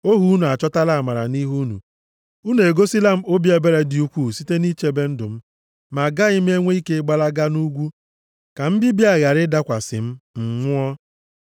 ohu unu achọtala amara nʼihu unu, unu egosila m obi ebere dị ukwuu site nʼichebe ndụ m. Ma agaghị m enwe ike gbalaga nʼugwu ka mbibi a ghara ịdakwasị m, m nwụọ.